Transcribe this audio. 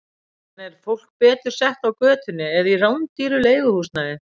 En er fólk betur sett á götunni eða í rándýru leiguhúsnæði?